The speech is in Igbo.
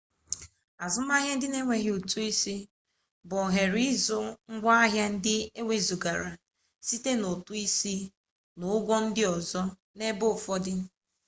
azụmaahịa na-enweghị ụtụ isi bụ ohere ịzụ ngwaahịa ndị ewezụgara site na ụtụ isi n'ụgwọ ndị ọzọ n'ebe ụfọdụ